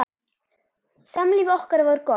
Samlíf okkar var gott.